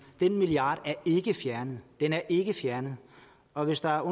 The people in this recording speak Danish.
den milliard er ikke fjernet den er ikke fjernet og hvis der er